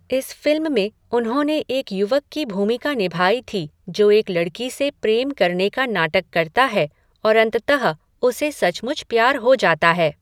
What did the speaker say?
इस फ़िल्म में उन्होंने एक युवक की भूमिका निभाई थी जो एक लड़की से प्रेम करने का नाटक करता है और अंततः उसे सचमुच प्यार हो जाता है।